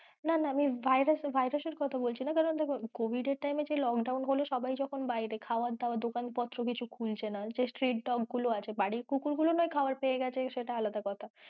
না না আমি virus virus এর কোথা বলছি না কারন দেখো কারন covid এর time এ যে lockdown হলে সবাই যখন বাড়িতে খাওয়া দাওয়া দোকান পত্র কিছু খুলছে না যে street dog গুলো আছে বাড়ির কুকুর গুলো নয় খাওয়ার পেয়ে গেছে সেটা আলাদা কোথা,